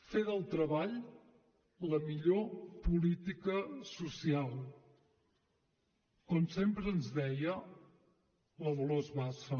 fer del treball la millor política social com sempre ens deia la dolors bassa